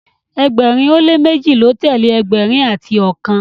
ẹgbẹrin o le meji ló telee ẹgbẹrin ati ọkan